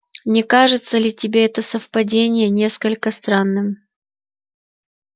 не кажется ли тебе это совпадение несколько странным